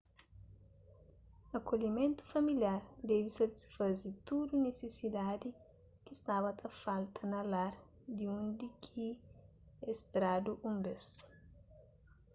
akolhimentu familiar debe satisfaze tudu nisisidadi ki staba ta falta na lar di undi ki es tradu un bês